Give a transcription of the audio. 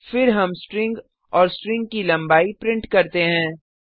फिर हम स्ट्रिंग और स्ट्रिंग की लंबाई प्रिंट करते हैं